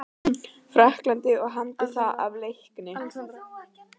Frakklandi og hamdi það af leikni.